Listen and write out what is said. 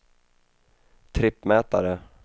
trippmätare